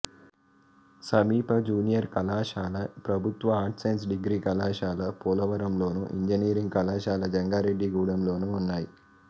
సమీప జూనియర్ కళాశాల ప్రభుత్వ ఆర్ట్స్ సైన్స్ డిగ్రీ కళాశాల పోలవరంలోను ఇంజనీరింగ్ కళాశాల జంగారెడ్డిగూడెంలోనూ ఉన్నాయి